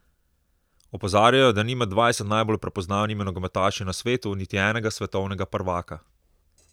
Opozarjajo, da ni med dvajset najbolj prepoznavnimi nogometaši na svetu niti enega svetovnega prvaka.